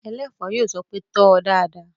Ẹlẹ́ẹ̀fọ́ yóò sọ pé "tò ó dáadáa!"